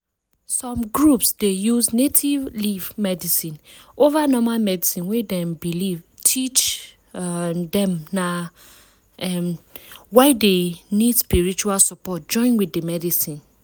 some groups dey use native leaf medicine over normal medicine wey dem belief teach um dem na um why dey need spiritual support join wit d medicine.